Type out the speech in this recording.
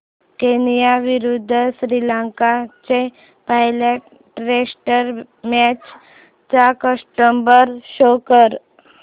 Kenya विरुद्ध श्रीलंका च्या पहिल्या टेस्ट मॅच चा स्कोअर शो कर